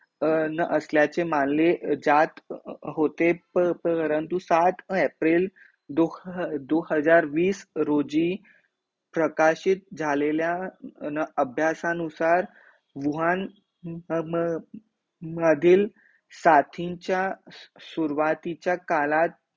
दो ह दो हजार वीस रोजी प्रकाशित झालेल्या न अभ्यासानुसार वूहान म म मधील साथींचा सुरवाती चा कालात